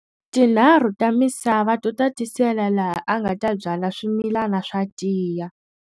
Tinharhu ta misava to tatisela laha a nga ta byala swimilana swa tiya.